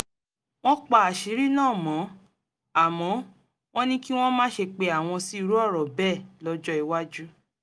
wọ́n pa àṣírí náà mọ́ àmọ́ wọ́n ní kí wọ́n má ṣe pe àwọn sí irú ọ̀rọ̀ bẹ́ẹ̀ lọ́jọ́ iwájú